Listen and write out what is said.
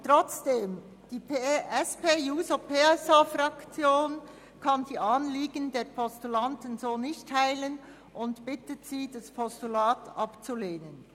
Trotzdem kann die SP-JUSO-PSA-Fraktion die Anliegen der Postulanten nicht teilen und bittet Sie, das Postulat abzulehnen.